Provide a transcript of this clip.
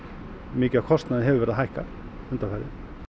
mikið af kostnaði hefur verið að hækka undanfarið